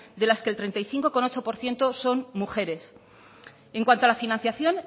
de las que el treinta y cinco coma ocho por ciento son mujeres en cuanto a la financiación